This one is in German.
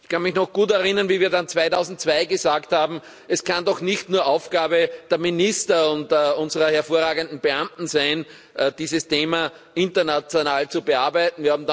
Ich kann mich noch gut daran erinnern, wie wir dann 2002 gesagt haben Es kann doch nicht nur Aufgabe der Minister und unserer hervorragenden Beamten sein, dieses Thema international zu bearbeiten.